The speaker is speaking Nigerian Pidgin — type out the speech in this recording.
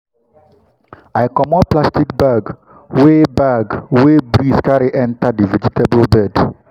i comot plastic bag wey bag wey breeze carry enter the vegetable bed.